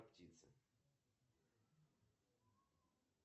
афина отключи таймер в восемь вечера